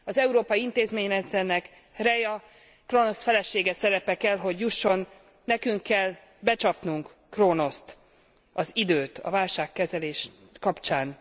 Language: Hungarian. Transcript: Az európai intézményrendszernek Rheia, Kronosz felesége szerepe kell hogy jusson, nekünk kell becsapnunk Kronoszt, az időt a válságkezelés kapcsán.